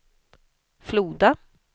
Floda